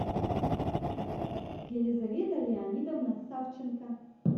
елизавета леонидовна савченко